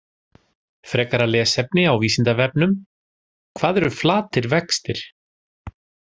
Frekara lesefni á Vísindavefnum: Hvað eru flatir vextir?